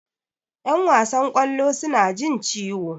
Yan wasan kwallo suna jin ciwo.